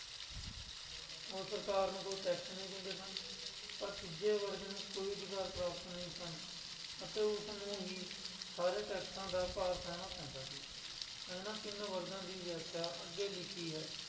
ਉਹ ਸਰਕਾਰ ਨੂੰ ਕੋਈ tax ਨਹੀਂ ਦਿੰਦੇ ਸਨ, ਪਰ ਤੀਜੇ ਵਰਗ ਨੂੰ ਕੋਈ ਅਧਿਕਾਰ ਪ੍ਰਾਪਤ ਨਹੀਂ ਸਨ ਅਤੇ ਉਸਨੂੰ ਹੀ ਸਾਰੇ ਟੈਕਸਾਂ ਦਾ ਭਾਰ ਸਹਿਣਾ ਪੈਂਦਾ ਸੀ, ਇਹਨਾਂ ਤਿੰਨ ਵਰਗਾਂ ਦੀ ਵਿਆਖਿਆ ਅੱਗੇ ਲਿਖੀ ਹੈ।